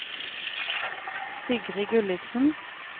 Sigrid Gulliksen